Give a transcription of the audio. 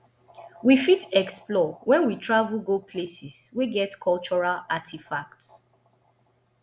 we fit explore when we travel go places wey get cultural artefacts